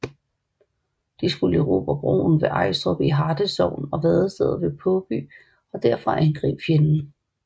De skulle erobre broen ved Ejstrup i Harte Sogn og vadestedet ved Påby og derfra angribe fjenden